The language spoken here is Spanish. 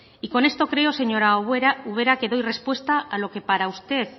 y con esto creo señora ubera que doy respuesta a lo que para usted